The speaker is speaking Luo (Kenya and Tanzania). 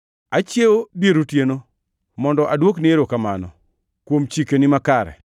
Achiewo dier otieno mondo aduokni erokamano kuom chikeni makare.